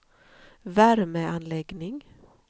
värmeanläggning